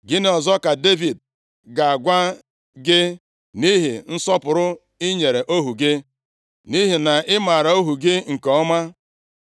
“Gịnị ọzọ ka Devid ga-agwa gị, nʼihi nsọpụrụ i nyere ohu gị? Nʼihi na ị maara ohu gị nke ọma,